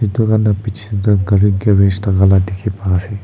itu khan du piche de gari garage thakala dikhi pa ase.